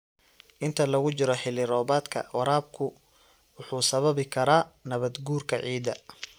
Inta lagu jiro xilli-roobaadka, waraabku wuxuu sababi karaa nabaad-guurka ciidda.